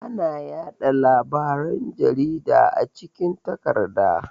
Ana yaɗa labaran jarida a cikin takarda.